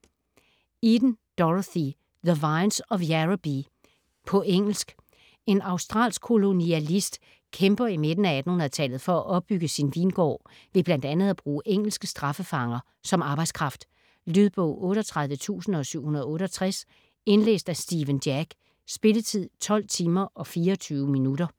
Eden, Dorothy: The vines of Yarrabee På engelsk. En australsk kolonialist kæmper i midten af 1800-tallet for at opbygge sin vingård ved bl.a. at bruge engelske straffefanger som arbejdskraft. Lydbog 38768 Indlæst af Stephen Jack. Spilletid: 12 timer, 24 minutter.